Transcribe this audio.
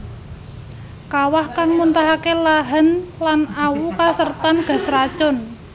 Kawah kang muntahake lahan lan awu kasertan gas racun